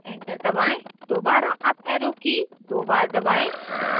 enter दबाएं दोबारा up arrow की key दो बार दबाएं